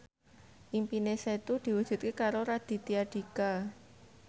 impine Setu diwujudke karo Raditya Dika